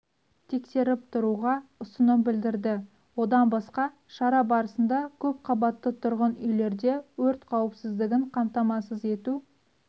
тексеріп тұруға ұсыным білдірді одан басқа шара барысында көпқабатты тұрғын үйлерде өрт қауіпсіздігін қамтамасыз ету